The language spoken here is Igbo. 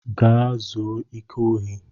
Gaa zuo ike ohi!